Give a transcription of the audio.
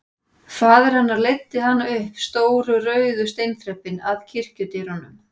Faðir hennar leiddi hana upp stóru rauðu steinþrepin að kirkjudyrunum.